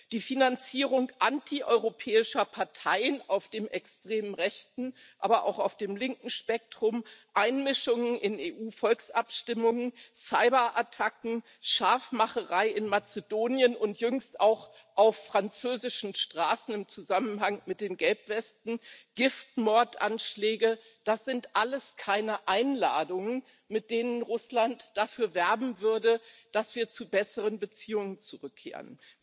Die Finanzierung antieuropäischer Parteien auf dem extrem rechten, aber auch auf dem linken Spektrum, Einmischungen in EU Volksabstimmungen, Cyberattacken, Scharfmacherei in Mazedonien und jüngst auch auf französischen Straßen im Zusammenhang mit den Gelbwesten, Giftmordanschläge das sind alles keine Einladungen, mit denen Russland dafür werben würde, dass wir zu besseren Beziehungen zurückkehren.